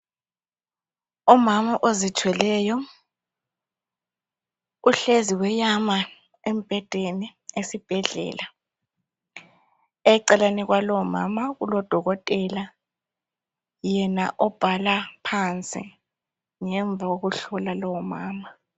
Umama ozithweleyo uhlezi uyama embhedeni esibhedlela. Eceleni kwalowo mama kulodokotela, yena obhala phansi ngemva kokuhlola lowomama.